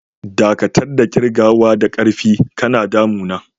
Dakatar da kirgawa da ƙarfi, kana damun na!